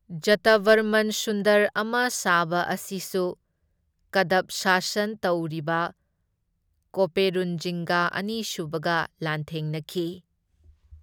ꯖꯇꯚꯔꯃꯟ ꯁꯨꯟꯗꯔ ꯑꯃ ꯁꯕ ꯑꯁꯤꯁꯨ ꯀꯗꯚ ꯁꯥꯁꯟ ꯇꯧꯔꯤꯕ ꯀꯣꯞꯄꯦꯔꯨꯟꯖꯤꯡꯒ ꯑꯅꯤꯁꯨꯕꯒ ꯂꯥꯟꯊꯦꯡꯅꯈꯤ꯫